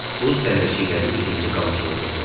Buz dənəcikləri üzümüzü qamçılayırdı.